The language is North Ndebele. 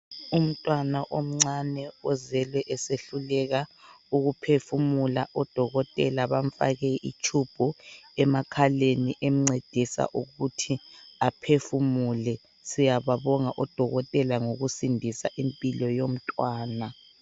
Umntwana omncane ozelwe esehluleka ukuphefumula. ODokotela bamfake itube emakhaleni emncedisa ukuthi aphefumule. Siyababonga o Dokotela ngokusindisa impilo yomntwana.